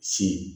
Si